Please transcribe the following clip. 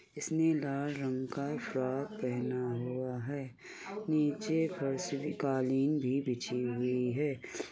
इसने लाल रंग का एक फ्रॉक पहना हुआ है। नीचे फर्श पे कालीन भी बिछी हुई है।